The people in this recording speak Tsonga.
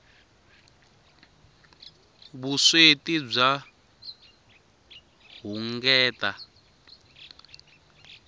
vusweti bya hunguteka